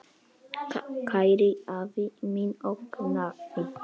Kæri afi minn og nafni.